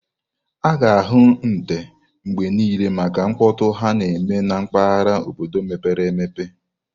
A ga-ahụ nte mgbe niile maka mkpọtụ ha na-eme na mpaghara obodo mepere emepe.